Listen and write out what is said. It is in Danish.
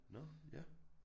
Nåh ja